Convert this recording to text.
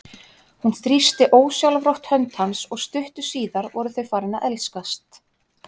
Hún þrýsti ósjálfrátt hönd hans og stuttu síðar voru þau farin að elskast.